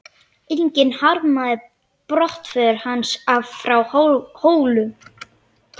Enginn harmaði brottför hans frá Hólum.